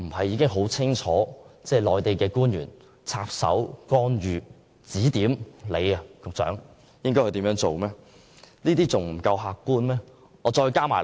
然而，內地官員插手干預及指點局長做事，顯然是客觀的事實。